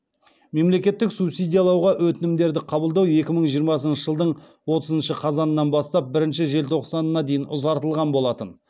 мемлекеттік субсидиялауға өтінімдерді қабылдау екі мың жиырмасыншы жылдың отызыншы қазанынан бастап бірінші желтоқсанына дейін ұзартылған болатын